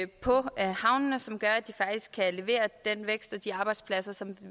på havnene som gør at de faktisk kan levere den vækst og de arbejdspladser som